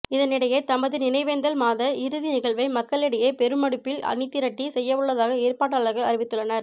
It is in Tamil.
இதனிடையே தமது நினைவேந்தல் மாத இறுதி நிகழ்வை மக்களிடையே பெருமெடுப்பில் அணிதிரட்டி செய்யவுள்ளதாக ஏற்பாட்டாளர்கள் அறிவித்துள்ளனர்